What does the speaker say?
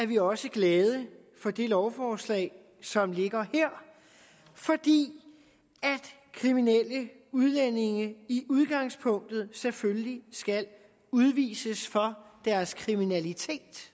vi også glade for det lovforslag som ligger her fordi kriminelle udlændinge i udgangspunktet selvfølgelig skal udvises for deres kriminalitet